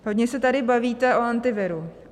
Hodně se tady bavíte o Antiviru.